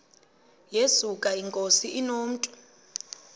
yesuka inkosi inomntu